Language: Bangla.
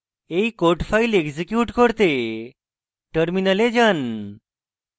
এই code file এক্সিকিউট করতে terminal যান